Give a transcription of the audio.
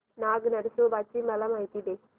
नाग नरसोबा ची मला माहिती दे